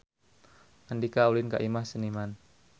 Andika ulin ka Imah Seniman